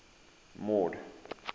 mord